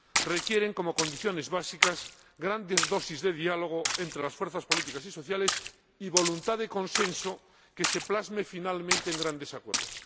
Requieren, como condiciones básicas, grandes dosis de diálogo entre las fuerzas políticas y sociales, y voluntad de consenso que se plasme finalmente en grandes acuerdos.